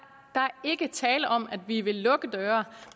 ikke er tale om at vi vil lukke døre